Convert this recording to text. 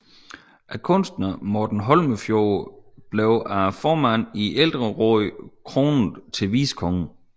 Kunstneren Morten Holmefjord blev af formanden i ældrerådet kronet til vicekonge